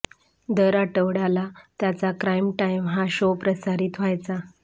दर आठवड्याला त्याचा क्राईम टाइम हा शो प्रसारित व्हायचा